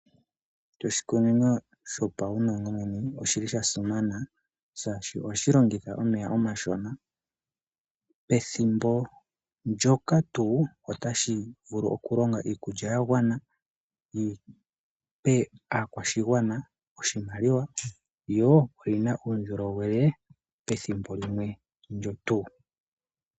Oshikunino shopaumwenemwene oshili shasimana shaashi ohashi longitha omeya omashona pethimbo ndyoka tuu, otashi vulu okulonga iikulya yagwana yipe aakwashigwana oshimaliwa. Yo oyina uundjolowele pethimbo limwe ndyo tuu.